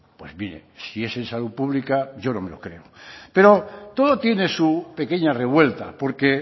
pues mire si es en salud pública yo no me lo creo pero todo tiene su pequeña revuelta porque